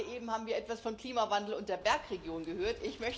Gerade eben haben wir etwas von Klimawandel und der Bergregion gehört.